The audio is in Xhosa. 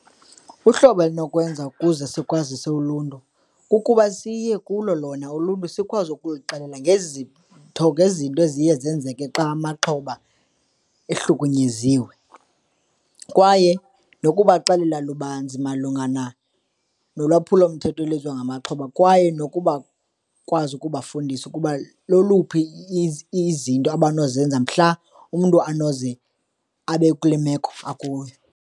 Uhlobo elinokwenza ukuze sikwazise uluntu, kukuba siye kulo lona uluntu, sikwazi ukuluxelela ngezitho ngezinto eziye zenzeke xa amaxhoba ehlukunyeziwe. Kwaye nokubaxelela lubanzi malunga nolwaphulomthetho ngamaxhoba. Kwaye nokuba bakwazi ukubafundisa ukuba loluphi izinto abanozenza mhla umntu anoze abe kule meko akuyo.